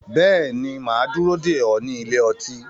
Bẹ́ẹ̀ ni, mà á dúró dè ọ́ ní ilé ọtí